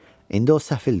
İndi o səfildir.